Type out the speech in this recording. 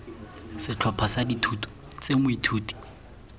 setlhopha sa dithuto tse moithuti